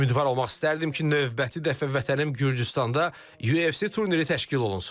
Ümidvar olmaq istərdim ki, növbəti dəfə vətənim Gürcüstanda UFC turniri təşkil olunsun.